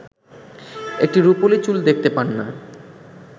একটি রুপোলি চুল দেখতে পান না